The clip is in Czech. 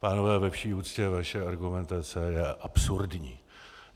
Pánové, ve vší úctě, vaše argumentace je absurdní.